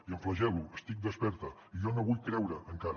i em flagel·lo estic desperta i jo no m’ho vull creure encara